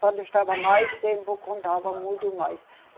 Quando estava mais tempo, contava muito mais.